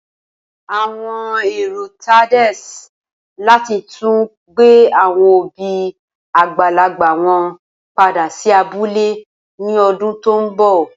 Awọn ero Tades lati tun gbe awọn obi agbalagba wọn pada si abule ni ọdun to nbọ.